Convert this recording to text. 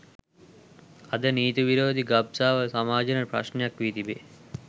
අද නීති විරෝධී ගබ්සාව සමාජයට ප්‍රශ්නයක් වී තිබේ